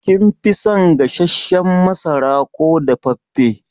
Kin fi son gasashen masara ko dafaffe?